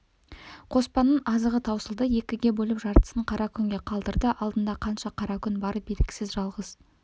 қоспанның азығы таусылды екіге бөліп жартысын қара күнге қалдырды алдында қанша қара күн бары белгісіз жалғыз